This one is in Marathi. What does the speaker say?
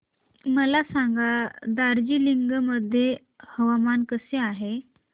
मला सांगा दार्जिलिंग मध्ये हवामान कसे आहे